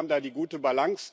Ich glaube, wir haben da die gute Balance.